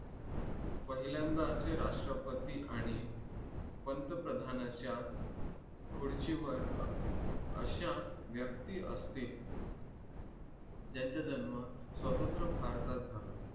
पहिल्यांदाच राष्ट्रपती आणि पंतप्रधानाच्या खुर्चीवर अशा व्यक्ती असतील ज्यांचा जन्म स्वातंत्र्य भारतात झाला